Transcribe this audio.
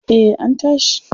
Eh an tashi.